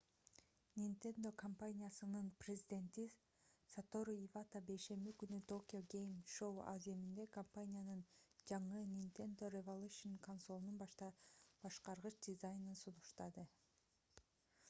nintendo компаниясынын президенти сатору ивата бейшемби күнкү tokyo game show аземинде компаниянын жаңы nintendo revolution консолунун башкаргыч дизайнын сунуштады